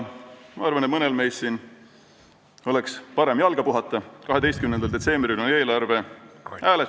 Ma arvan, et mõnel meist siin oleks parem jalga puhata, 12. detsembril on eelarve hääletus.